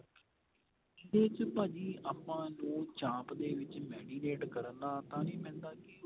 ਇਹਦੇ ਚ ਭਾਜੀ ਆਪਾਂ ਜੇ ਚਾਂਪ ਦੇ ਵਿੱਚ marinate ਕਰਨਾ ਤਾਂ ਜੀ ਪੈਂਦਾ ਕੀ